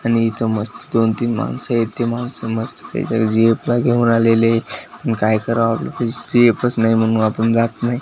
आणि इथं मस्त दोन तीन माणसं आहेत ती माणसं मस्तपैकी गि_फ ला घेऊन आलेली आहेत म्हणून आपण जात नाही.